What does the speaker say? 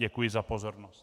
Děkuji za pozornost.